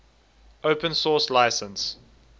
open source license